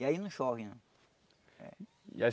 E aí não chove não. E